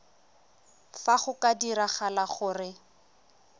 fa go ka diragala gore